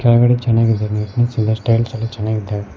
ಒಳಗಡೆ ಚನ್ನಾಗಿದೆ ನಿಟ್ನೆಸ್ ಎಲ್ಲಾ ಚನ್ನಾಗಿದವ್.